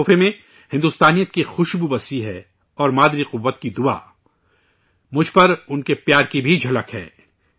اس تحفے میں بھارتیت کی خوشبو ہے اور ماترشکتی کے آشرواد مجھ پر ان کی محبت کی بھی جھلک ہے